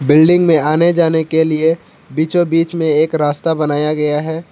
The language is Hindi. बिल्डिंग में आने जाने के लिए बीचो बीच में एक रास्ता बनाया गया है।